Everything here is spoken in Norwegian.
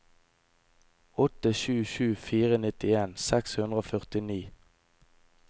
åtte sju sju fire nittien seks hundre og førtini